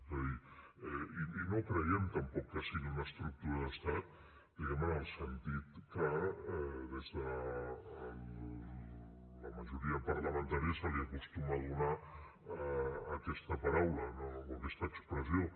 és a dir i no creiem tampoc que sigui una estructura d’estat diguem ne en el sentit que des de la majoria parlamentària se li acostuma a donar a aquesta paraula o aquesta expressió